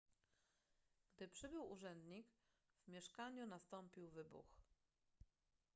gdy przybył urzędnik w mieszkaniu nastąpił wybuch